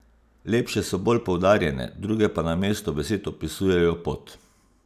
Lepše so bolj poudarjene, druge pa namesto besed opisujejo pot.